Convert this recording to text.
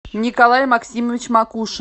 николай максимович макушин